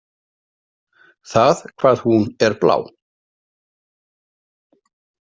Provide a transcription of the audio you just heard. Það hvað hún er blá.